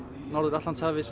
norður Atlantshafi